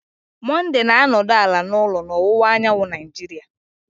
Monday na-anọdụ ala n'ụlọ na ọwụwa anyanwụ Nigeria